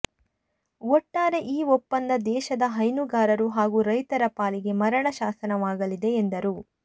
ಒಟ್ಟಾರೆ ಈ ಒಪ್ಪಂದ ದೇಶದ ಹೈನುಗಾರರು ಹಾಗೂ ರೈತರ ಪಾಲಿಗೆ ಮರಣ ಶಾಸನವಾಗಲಿದೆ ಎಂದರು